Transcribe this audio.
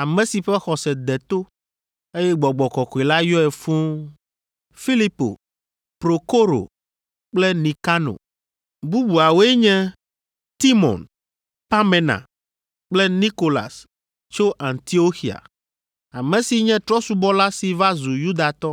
ame si ƒe xɔse de to, eye Gbɔgbɔ kɔkɔe la yɔe fũu, Filipo, Prokoro kple Nikano. Bubuawoe nye: Timon, Parmena kple Nikolas tso Antioxia, ame si nye trɔ̃subɔla si va zu Yudatɔ.